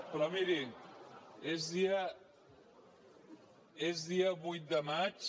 però mirin és dia vuit de maig